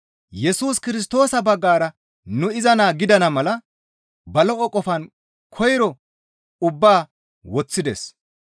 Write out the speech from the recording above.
Yesus Kirstoosa baggara nu iza naa gidana mala ba lo7o qofaan koyro ubbaa woththides.